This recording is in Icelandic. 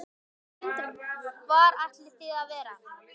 Hrund: Hvar ætlið þið að vera?